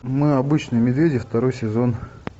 мы обычные медведи второй сезон